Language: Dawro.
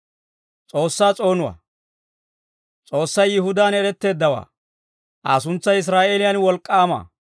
S'oossay Yihudaan eretteeddawaa; Aa suntsay Israa'eeliyaan wolk'k'aama.